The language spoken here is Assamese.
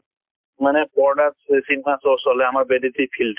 মানে পৰ্দাত চি cinema show চলে আমাৰ বেদিতি field